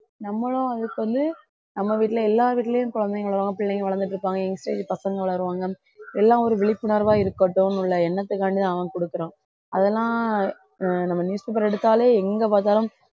நம்மளும் அதுக்கு வந்து நம்ம வீட்டுல எல்லா வீட்டுலயும் குழந்தைங்களைதான் பிள்ளைங்க வளர்ந்துட்டு இருப்பாங்க young stage பசங்க வளருவாங்க எல்லாம் ஒரு விழிப்புணர்வா இருக்கட்டும் உள்ள எண்ணத்துக்காண்டிதான் அவன் கொடுக்கிறான் அதெல்லாம் ஆஹ் நம்ம newspaper எடுத்தாலே எங்க பார்த்தாலும்